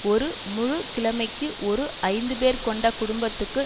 ஒரு முழு கிழமைக்கு ஒரு ஐந்து பேர் கொண்ட குடும்பத்துக்கு